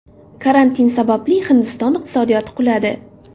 Karantin sababli Hindiston iqtisodiyoti quladi.